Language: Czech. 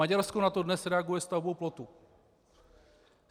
Maďarsko na to dnes reaguje stavbou plotu.